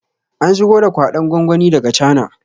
An shigo da kwaɗon gwangwani daga cana